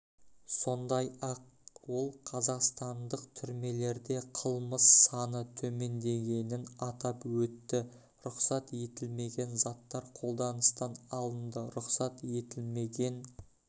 сондай-ақ ол қазақстандық түрмелерде қылмыс саны төмендегенін атап өтті рұқсат етілмеген заттар қолданыстан алынды рұқсат етілмеген